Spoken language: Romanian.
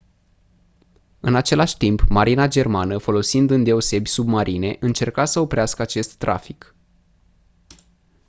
în același timp marina germană folosind îndeosebi submarine încerca să oprească acest trafic